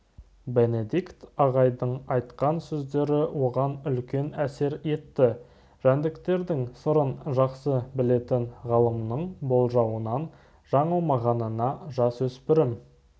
бенедикт ағайдың айтқан сөздері оған үлкен әсер етті жәндіктердің сырын жақсы білетін ғалымның болжауынан жаңылмағанына жасөспірім